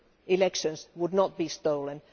elections would not be stolen.